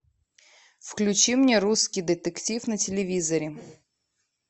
включи мне русский детектив на телевизоре